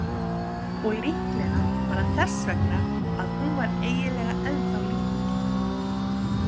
Og líklega var það þess vegna að hún var eiginlega ennþá lítil.